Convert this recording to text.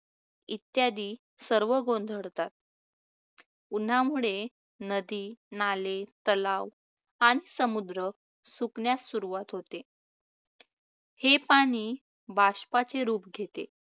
इत्यादी सर्व गोंधळतात. उन्हामुळे नदी-नाले, तलाव-तलाव आणि समुद्र सुकण्यास सुरवात होते. हे पाणी बाष्पाचे रूप घेते